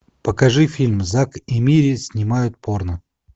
покажи фильм зак и мири снимают порно